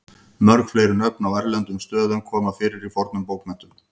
mörg fleiri nöfn á erlendum stöðum koma fyrir í fornum bókmenntum